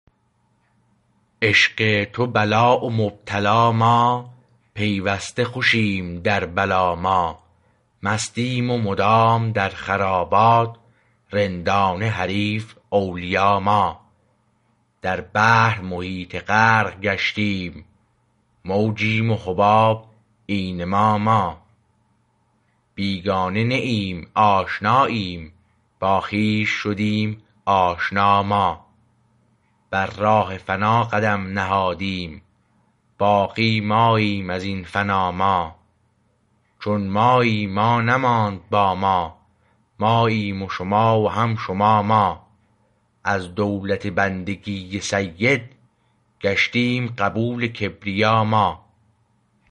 عشق تو بلا و مبتلا ما پیوسته خوشیم در بلا ما مستیم و مدام در خرابات رندانه حریف اولیا ما در بحر محیط غرق گشتیم موجیم و حباب عین ما ما بیگانه نه ایم آشناییم با خویش شدیم آشنا ما بر راه فنا قدم نهادیم باقی ماییم از این فنا ما چون مایی ما نماند با ما ماییم شما و هم شما ما از دولت بندگی سید گشتیم قبول کبریا ما